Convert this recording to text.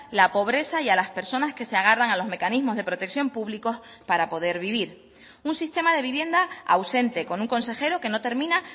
la pobreza y a las personas que se agarran a los mecanismos de protección públicos para poder vivir un sistema de vivienda ausente con un consejero que no termina